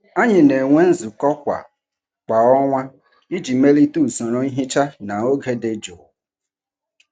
Anyị na-enwe nzukọ kwa kwa ọnwa iji melite usoro nhicha na oge dị jụụ.